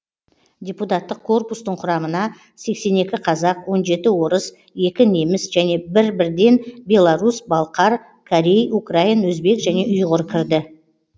депутаттық корпустың құрамына сексен екі қазақ он жеті орыс екі неміс және бір бірден белорус балқар корей украин өзбек және ұйғыр кірді